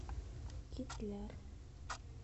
кизляр